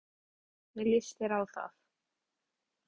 Sólveig: Hvernig líst þér á það?